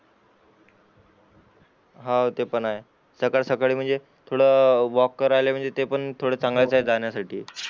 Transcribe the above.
हान ते पण आहे सकाळ सकाळी म्हणजे थोडा वाल्क करायला म्हणजे ते पण थोड चांगलंच जाण्या साठी